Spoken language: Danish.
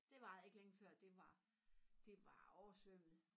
Det varede ikke længe før det var det var oversvømmet